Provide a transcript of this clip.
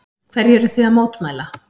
Hverju eruð þið að mótmæla?